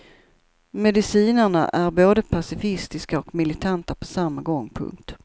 Medicinarna är både pacifistiska och militanta på samma gång. punkt